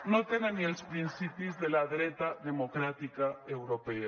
no tenen ni els principis de la dreta democràtica europea